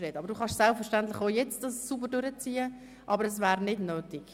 Sie dürfen selbstverständlich jetzt schon Hochdeutsch sprechen, aber es wäre nicht nötig.